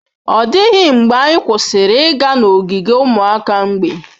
Ọ dịghị mgbe anyị kwụsịrị ịga n'ogige ụmụ mgbei.